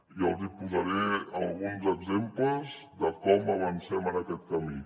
i els hi posaré alguns exemples de com avancem en aquest camí